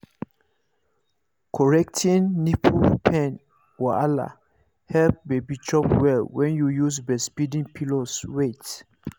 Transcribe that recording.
correcting nipple pain wahala help baby chop well when you use breastfeeding pillows wait